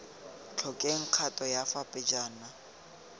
tlhokeng kgato ya fa pejana